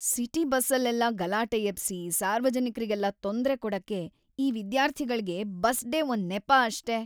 City ಬಸ್ಸಲ್ಲೆಲ್ಲ ಗಲಾಟೆ ಎಬ್ಸಿ ಸಾರ್ವಜನಿಕ್ರಿಗೆಲ್ಲ ತೊಂದ್ರೆ ಕೊಡಕ್ಕೆ ಈ ವಿದ್ಯಾರ್ಥಿಗಳ್ಗೆ ಬಸ್ ಡೇ ಒಂದ್‌ ನೆಪ ಅಷ್ಟೇ.